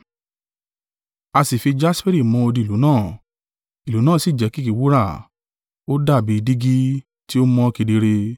A sì fi jasperi mọ odi ìlú náà. Ìlú náà sì jẹ́ kìkì wúrà, ó dàbí dígí tí o mọ́ kedere.